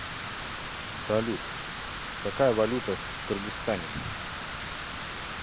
салют какая валюта в кыргызстане